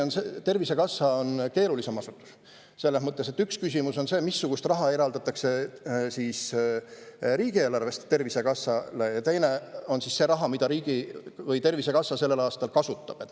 Tervisekassa on keerulisem asutus, selles mõttes, et üks on see raha, mida eraldatakse Tervisekassale riigieelarvest, ja teine on see raha, mida Tervisekassa sellel aastal kasutab.